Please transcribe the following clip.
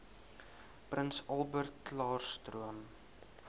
prins albertklaarstroom